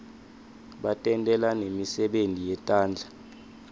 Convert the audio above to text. batentela nemisebenti yetandla